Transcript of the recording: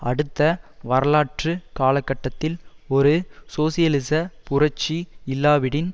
அடுத்த வரலாற்று காலகட்டத்தில் ஒரு சோசியலிச புரட்சி இல்லாவிடின்